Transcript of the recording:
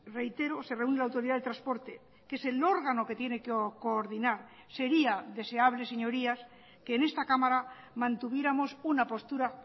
reitero se reúne la autoridad de transporte que es el órgano que tiene que coordinar sería deseable señorías que en esta cámara mantuviéramos una postura